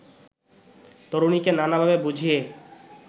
তরুণীকে নানাভাবে বুঝিয়ে